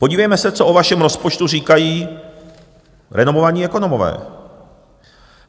Podívejme se, co o vašem rozpočtu říkají renomovaní ekonomové.